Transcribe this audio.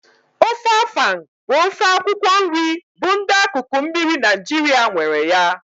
Ofe afang bụ ofe akwụkwọ nri bụ ndị akụkụ mmiri Naijiria nwere ya